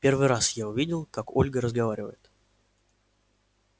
первый раз я увидел как ольга разговаривает